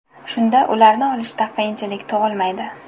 Shunda ularni olishda qiyinchilik tug‘ilmaydi.